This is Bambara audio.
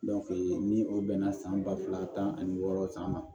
ni o bɛnna san ba fila tan ani wɔɔrɔ san ma